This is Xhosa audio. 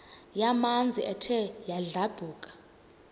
yamanzi ethe yadlabhuka